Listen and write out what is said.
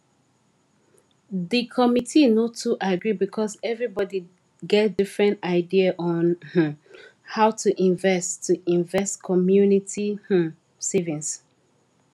the committee no too agree because everybody get different idea on um how to invest to invest community um savings